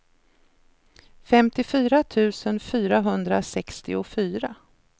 femtiofyra tusen fyrahundrasextiofyra